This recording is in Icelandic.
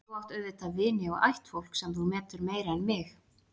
Þú átt auðvitað vini og ættfólk, sem þú metur meira en mig.